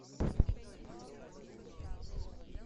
не уходи